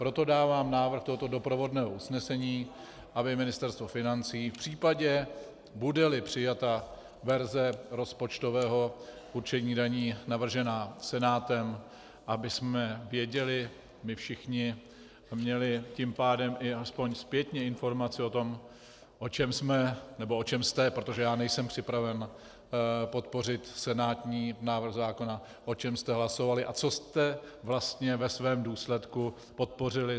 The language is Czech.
Proto dávám návrh tohoto doprovodného usnesení, aby Ministerstvo financí v případě, bude-li přijata verze rozpočtového určení daní navržená Senátem, abychom věděli my všichni a měli tím pádem i aspoň zpětně informaci o tom, o čem jsme, nebo o čem jste, protože já nejsem připraven podpořit senátní návrh zákona, o čem jste hlasovali a co jste vlastně ve svém důsledku podpořili.